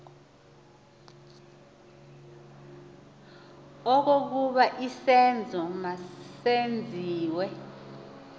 okokuba isenzo masenziwe